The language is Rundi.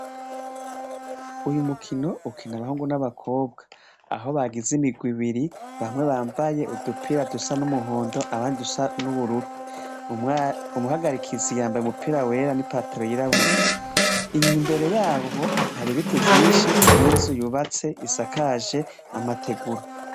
Uyu mukino ukina abahungu n'abakobwa, aho bagize imirwi ibiri bamwe bambaye udupira dusa n'umuhondo abandi udusa n'ubururu, umuhagarikizi yambaye umupira wera n'ipatalo yirabura imbere yaho hari ibiti vynshi n'inzu yubatse isakaje amategura.